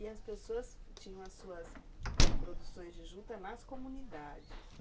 E as pessoas tinham as suas produções de juntas nas comunidades.